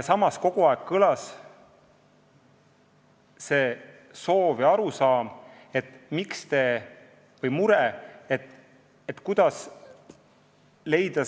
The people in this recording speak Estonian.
Samas on kogu aeg kõlanud soov ja arusaam või mure, et on vaja leida